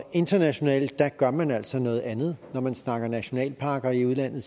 internationalt gør man altså noget andet når man snakker nationalparker i udlandet